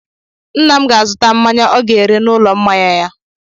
Nna m ga-azụta mmanya ọ ga-ere n'ụlọ mmanya ya.